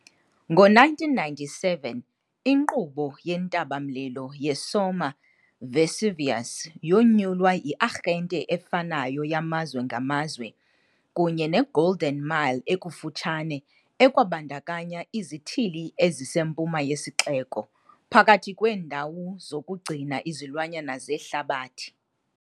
Ngo-1997 inkqubo yentaba-mlilo yeSomma - Vesuvius yonyulwa yi-arhente efanayo yamazwe ngamazwe kunye ne-Golden Mile ekufutshane, ekwabandakanya izithili ezisempuma yesixeko phakathi kweendawo zokugcina izilwanyana zehlabathi.